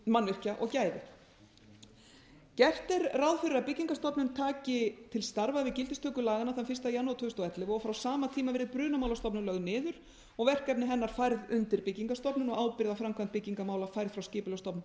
mannvirkja og gæði gert er ráð fyrir að byggingarstofnun taki til starfa við gildistöku laganna þann fyrsta janúar tvö þúsund og ellefu og frá sama tíma verði brunamálastofnun lögð niður og verkefni hennar færð undir byggingarstofnun og ábyrgð á framkvæmd byggingarmál færð frá skipulagsstofnun til